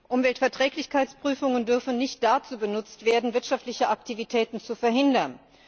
Umweltverträglichkeitsprüfungen dürfen nicht dazu benutzt werden, wirtschaftliche Aktivitäten zu verhindern.